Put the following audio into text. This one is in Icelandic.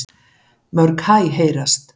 Mörg hæ heyrast.